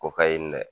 O ka ye